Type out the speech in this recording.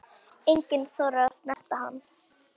Enginn þorir að snerta hann.